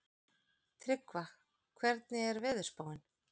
Tryggva, hvernig er veðurspáin?